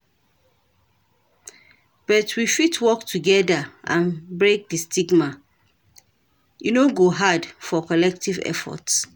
But we fit work together and break di stigma, e no go hard for collective efforts.